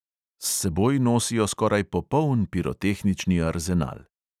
S seboj nosijo skoraj popoln pirotehnični arzenal.